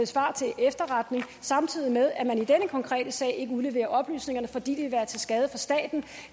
svar til efterretning samtidig med at man i denne konkrete sag ikke udleverer oplysningerne fordi det ville være til skade for staten